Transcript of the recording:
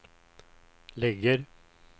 ligger